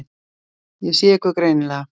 Ég sé ykkur greinilega.